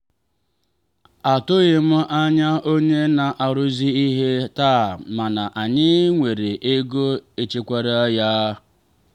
atụghị m anya onye na-arụzi ihe taa mana anyị nwere ego echekwaara ya.